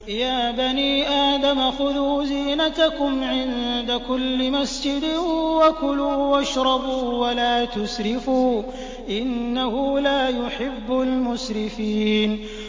۞ يَا بَنِي آدَمَ خُذُوا زِينَتَكُمْ عِندَ كُلِّ مَسْجِدٍ وَكُلُوا وَاشْرَبُوا وَلَا تُسْرِفُوا ۚ إِنَّهُ لَا يُحِبُّ الْمُسْرِفِينَ